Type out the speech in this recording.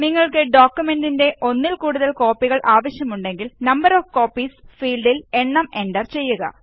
നിങ്ങള്ക്ക് ഡോക്കുമെന്റിന്റെ ഒന്നില് കൂടുതല് കോപ്പികള് ആവശ്യമുണ്ടെങ്കില് നംബർ ഓഫ് കോപ്പീസ് ഫീല്ഡില് എണ്ണം എന്റര് ചെയ്യുക